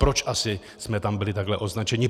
Proč asi jsme tam byli takhle označeni?